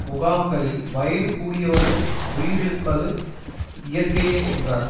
முகாம்களில் வயது கூடியவர்கள் உயிரிழிப்பது இயற்கையே என்றார்